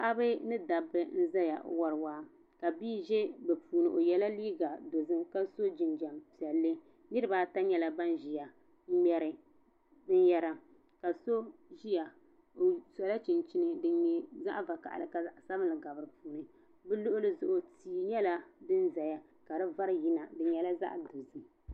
Paɣaba ni dabba n ʒeya n wari waa ka bi ʒe bɛ puuni yela liiga dozim ka so jinjam piɛlli niribaata nyela ban ʒiya n ŋmeri binyara ka so ʒiya n sola chinchini din nye zaɣvakaɣili ka zaɣsabinli gabi di puuni bɛ luɣuli zuɣu tii nyela din zaya ka di vari yina di nyela zaɣdozim.